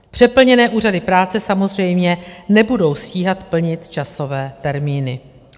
Přeplněné úřady práce samozřejmě nebudou stíhat plnit časové termíny.